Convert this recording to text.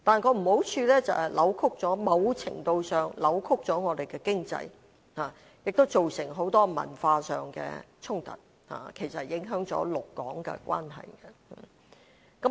可是，缺點就是某程度上扭曲了本港的經濟，亦造成很多文化上的衝突，影響了陸港關係。